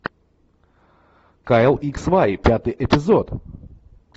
кайл икс уай пятый эпизод